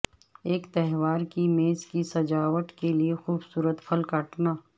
ایک تہوار کی میز کی سجاوٹ کے لئے خوبصورت پھل کاٹنا